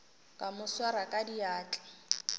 ka mo swara ka diatla